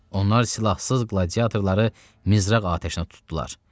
Onlar silahsız qladiatorları mizraq atəşinə tutdular.